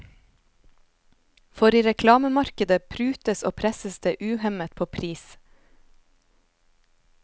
For i reklamemarkedet prutes og presses det uhemmet på pris.